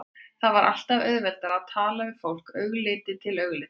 Það var alltaf auðveldara að tala við fólk augliti til auglitis.